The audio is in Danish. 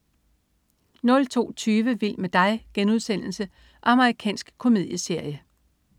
02.20 Vild med dig.* Amerikansk komedieserie